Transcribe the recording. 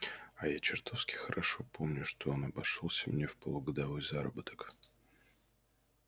а я чертовски хорошо помню что он обошёлся мне в полугодовой заработок